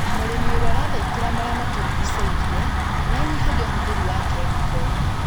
Mũrĩmi ũrĩa ũrathaitĩra marĩa matũrigicĩirie nĩanyihagia ũhũthĩri wa kemiko